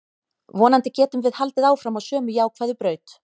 Vonandi getum við haldið áfram á sömu jákvæðu braut.